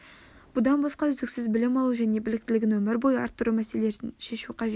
бұдан басқа үздіксіз білім алу және біліктілігін өмір бойы арттыру мәселелерін шешу қажет